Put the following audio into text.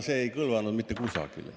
See ei kõlvanud mitte kusagile.